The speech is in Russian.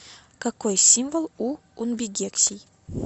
какой символ у унбигексий